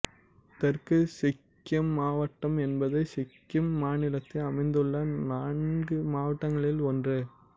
தெற்கு சிக்கிம் மாவட்டம் என்பது சிக்கிம் மாநிலத்தில் அமைந்துள்ள நான்கு மாவட்டங்களின் ஒன்று